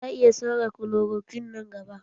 Za a iya sauya klorokwin nan gaba